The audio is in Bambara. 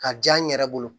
Ka diya n yɛrɛ bolo